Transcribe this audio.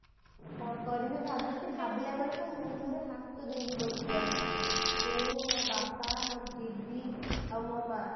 କଣ କରିବି ଭାବୁଛି ଭାବିଲା ବେଳକୁ ମୁଣ୍ଡରେ ହାତ ଦେଇକି ମୁଁ ମୋ ବାପା ମୋ ଦିଦି ଆଉ ମୋ ମା